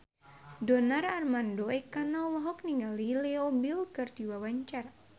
Donar Armando Ekana olohok ningali Leo Bill keur diwawancara